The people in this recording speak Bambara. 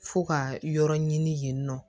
Fo ka yɔrɔ ɲini yen nɔ